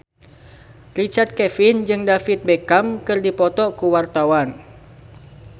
Richard Kevin jeung David Beckham keur dipoto ku wartawan